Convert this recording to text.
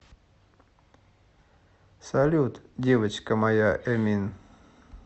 салют девочка моя эмин